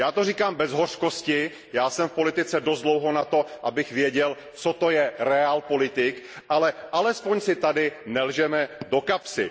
Říkám to bez hořkosti, jsem v politice dost dlouho na to, abych věděl, co to je realpolitik, ale alespoň si tady nelžeme do kapsy.